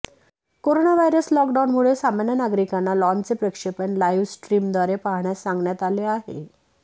corona virus लॉकडाऊनमुळे सामान्य नागरिकांना लाँचचे प्रक्षेपण लाईव्ह स्ट्रीमद्वारे पाहण्यास सांगण्यात आले आहे